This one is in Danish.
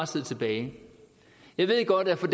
sidde tilbage jeg ved godt at for